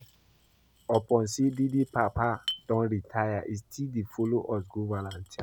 Upon say Dede papa don retire, he still dey follow us go volunteer